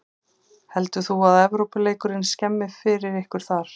Heldur þú að Evrópuleikurinn skemmi fyrir ykkur þar?